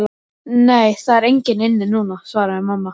Nei, það er engin inni núna, svaraði mamma.